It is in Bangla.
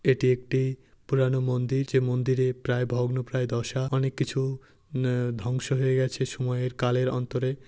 এটি একটি পুরানো মন্দির। যে মন্দিরে প্রায় ভগ্ন প্রায় দশা অনেক কিছু উম ধ্বংস হয়ে গেছে সময়ের কালের অন্তরে।